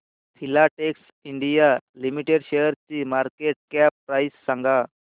Filatex India limited शेअरची market cap price सांगा